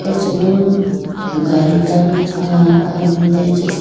acha ma gari kani kha ahodone acha seat .